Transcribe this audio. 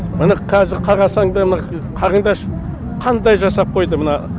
міне қазір қарасаңдар қараңдаршы қандай жасап қойды мына